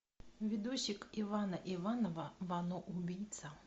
видосик ивана иванова вано убийца